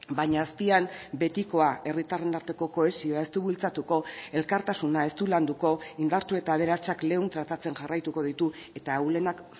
baina azpian betikoa herritarren arteko kohesioa ez du bultzatuko elkartasuna ez du landuko indartsu eta aberatsak leun tratatzen jarraituko ditu eta ahulenak